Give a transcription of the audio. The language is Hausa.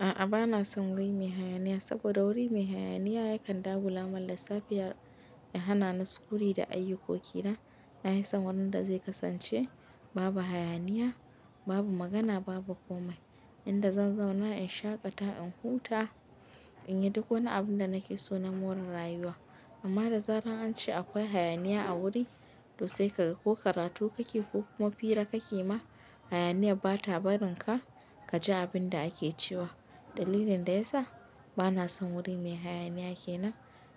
A'a bana son wuri mai hayaniya saboda wuri mai hayaniya yakan dagula min a lissafi ya hana ni sukuni da ayyukoki na. Na hi san wurin da zai kasance babu hayaniya, babu magana, babu komai. Inda zan zauna in shaƙata, in huta, in yi duk wani abin da nake so na more rayuwa. Amma da zarar an ce akwai hayaniya a wuri, to sai ka ga ko karatu kake ko kuma fira kake ma hayaniyar ba ta barin ka ka ji abin da ake cewa. Dalilin da ya sa bana son wuri mai hayaniya kenan,